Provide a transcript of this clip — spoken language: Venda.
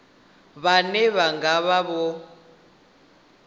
vhane vha nga vha vho